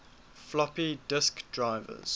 floppy disk drives